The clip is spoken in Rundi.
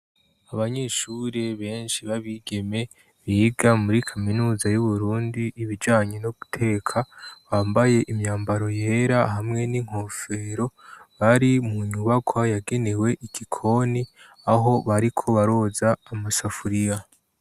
Abanyeshuri benshi babigeme biga muri kaminuza y'uburundi 'ibijanye no guteka bambaye imyambaro yera hamwe n'inkofero bari mu nyubakwa yagenewe ikikoni aho bariko baroza amasafuriya.